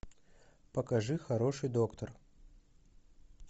покажи хороший доктор